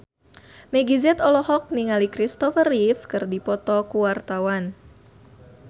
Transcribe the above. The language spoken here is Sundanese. Meggie Z olohok ningali Christopher Reeve keur diwawancara